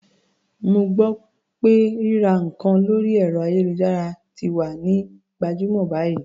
Mo gbọ́ pé ríra nǹkan lórí ẹ̀rọ-ayélujára ti wá ń gbajúmọ̀ báyìí.